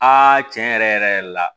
tiɲɛ yɛrɛ yɛrɛ la